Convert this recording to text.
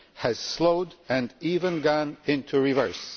has slowed and even gone into reverse.